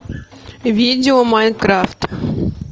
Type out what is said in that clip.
видео майнкрафт